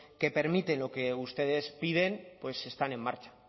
que permite lo que ustedes piden pues están en marcha